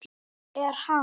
Er hann.